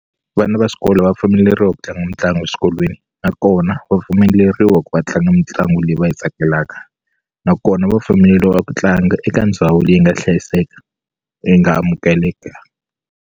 Vana va xikolo va pfumeleriwa ku tlanga mitlangu eswikolweni nakona va pfumeleriwa ku va tlanga mitlangu leyi va yi tsakelaka nakona va pfumeleriwa ku tlanga eka ndhawu leyi nga hlayiseka yi nga amukeleka.